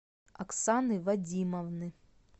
оксаны вадимовны